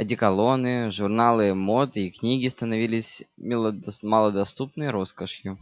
одеколоны журналы мод и книги становились малодоступной роскошью